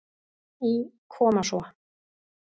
Í Koma svo!